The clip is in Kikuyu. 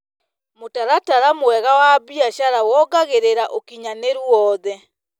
Mũtaratara mwega wa biacara wongagĩrĩra ũkinyanĩru wothe.